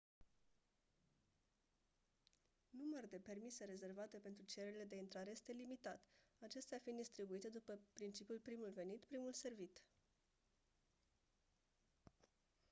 număr de permise rezervate pentru cererile de intrare este limitat acestea fiind distribuite după principiul primul venit primul servit